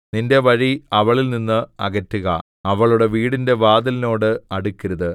നിന്റെ വഴി അവളിൽ നിന്ന് അകറ്റുക അവളുടെ വീടിന്റെ വാതിലിനോട് അടുക്കരുത്